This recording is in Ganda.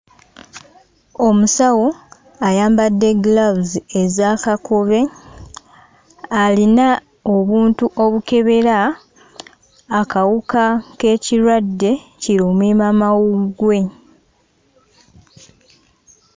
Omusawo ayambadde giraavuzi eza kakobe, alina obuntu obukebera akawuka k'ekirwadde kirumiimamawuggwe.